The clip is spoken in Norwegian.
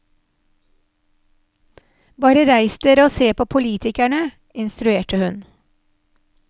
Bare reis dere og se på politikerne, instruerte hun.